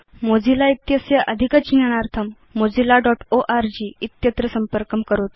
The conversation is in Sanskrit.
मोजिल्ला इत्यस्य अधिक ज्ञानार्थं mozillaओर्ग इत्यत्र संपर्कं करोतु